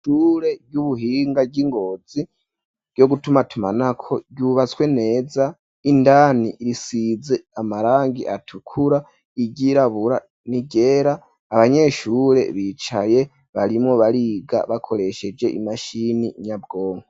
Ishure ry'ubuhinga ry'Ingozi ryo gutumatumanako ryubatswe neza, indani risize amarangi atukura iryirabura niryera ,abanyeshure bicaye barimwo bariga bakoresheje imashini nyabwonko.